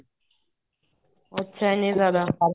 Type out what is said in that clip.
ਅੱਛਾ ਐਨੇ ਜਿਆਦਾ